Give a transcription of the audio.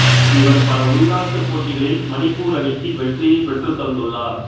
இவர் பல உள்நாட்டு போட்டிகளில் மணிப்பூர் அணிக்கு வெற்றியைப் பெற்றுத்தந்துள்ளார்